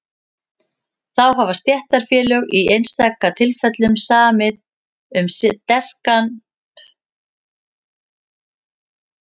þá hafa stéttarfélög í einstaka tilfellum samið um skertan verkfallsrétt